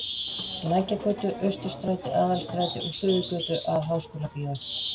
Lækjargötu, Austurstræti, Aðalstræti og Suðurgötu að Háskólabíói.